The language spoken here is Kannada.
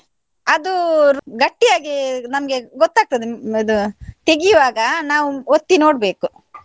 ಅದು ಗಟ್ಟಿಯಾಗಿ ನಮ್ಗೆ ಗೊತ್ತಾಗ್ತದೆ ಇದು ತೆಗಿವಾಗ ನಾವು ಒತ್ತಿ ನೋಡ್ಬೇಕು.